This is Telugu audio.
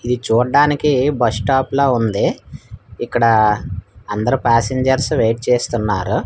ఇది చూడ్డానికి బస్ స్టాప్ లా ఉంది ఇక్కడ అందరు ప్యాసింజర్స్ వెయిట్ చేస్తున్నారు.